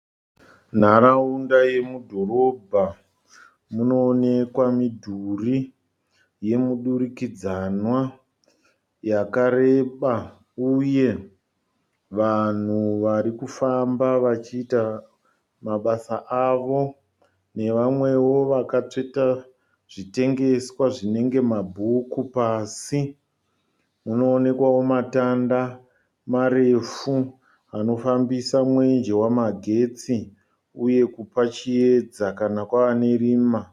Nharaunda yemudhorobha. Munoonekwa midhuri yemudurikidzanwa yakareba uye vanhu varikufamba vachiita mabasa avo. Nevamweo vakatsveta zvitengeswa zvinenge mabhuku pasi. Munoonekwao matanda marefu anofambisa mwenje wemagetsi uye kupa chiedza kana kwane rima.